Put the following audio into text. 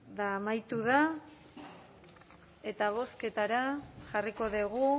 amaitu da eta bozketara jarriko dugu